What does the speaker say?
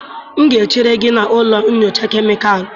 M ga-echere gị na ụlọ nyocha kemịkalụ.